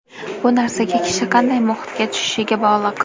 Bu narsa kishi qanday muhitga tushishiga bog‘liq.